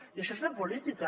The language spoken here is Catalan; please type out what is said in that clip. i això és fer política